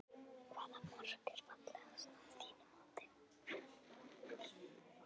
Hvaða mark er fallegast að þínu mati?